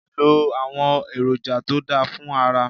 Lo àwọn èròǹjà to dá fún ara.